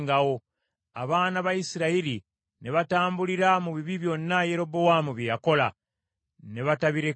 Abaana ba Isirayiri ne batambulira mu bibi byonna Yerobowaamu bye yakola, ne batabirekaayo,